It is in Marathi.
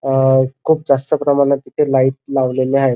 अ खूप जास्त प्रमाणात तिथे लाइट लावलेल्या आहेत.